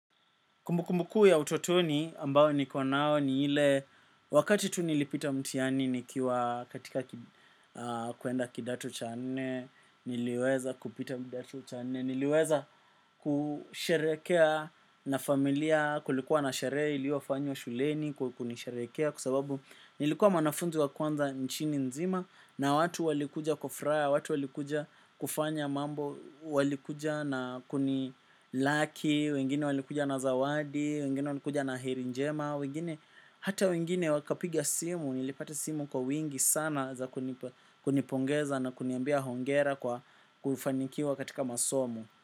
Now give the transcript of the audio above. Kumbukumbu kuu ya utotoni ambao niko nao ni ile wakati tu nilipita mtihani nikiwa katika kuenda kidato cha nne, niliweza kupita kidato cha nne, niliweza kusharehekea na familia kulikuwa na sharehe iliyofanywa shuleni kukunisharehekea kwa sababu nilikuwa mwanafunzi wa kwanza nchini nzima na watu walikuja kufuraha, watu walikuja kufanya mambo, walikuja na kuni laki, wengine walikuja na zawadi, wengine walikuja na heri njema wengine hata wengine wakapiga simu nilipata simu kwa wingi sana za kunipongeza na kuniambia hongera kwa kufanikiwa katika masomo.